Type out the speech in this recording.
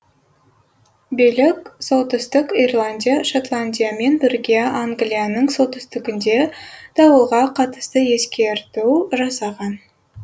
билік солтүстік ирландия шотландиямен бірге англияның солтүстігінде дауылға қатысты ескерту жасаған